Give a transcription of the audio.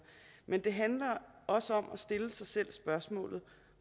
men det handler også om at stille sig selv spørgsmålet